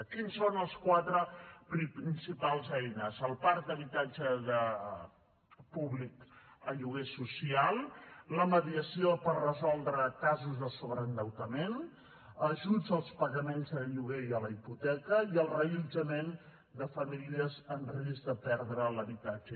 quines són les quatre principals eines el parc d’habitatge públic en lloguer social la mediació per resoldre casos de sobreendeutament ajuts als pagaments de lloguer i a la hipoteca i el reallotjament de famílies en risc de perdre l’habitatge